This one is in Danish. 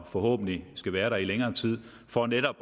forhåbentlig skal være der i længere tid for netop